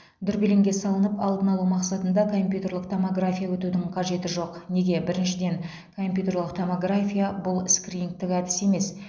дүрбелеңге салынып алдын алу мақсатында компьютерлік томография өтудің қажеті жоқ неге біріншіден компьютерлік томография бұл скринингтік әдіс емес